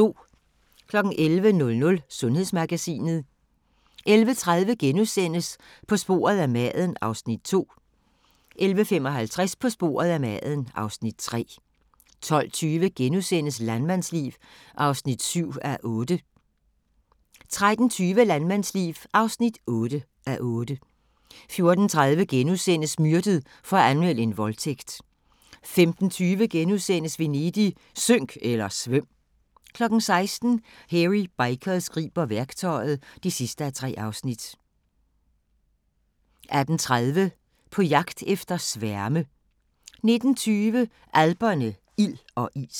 11:00: Sundhedsmagasinet 11:30: På sporet af maden (Afs. 2)* 11:55: På sporet af maden (Afs. 3) 12:20: Landmandsliv (7:8)* 13:20: Landmandsliv (8:8) 14:30: Myrdet for at anmelde en voldtægt * 15:20: Venedig – synk eller svøm! * 16:00: Hairy Bikers griber værktøjet (3:3) 18:30: På jagt efter sværme 19:20: Alperne – ild og is